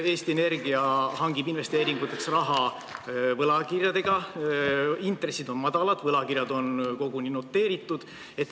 Eesti Energia hangib investeeringuteks raha võlakirjadega, intressid on madalad, võlakirjad on koguni noteeritud.